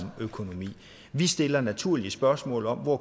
økonomien vi stiller naturligvis spørgsmål om hvor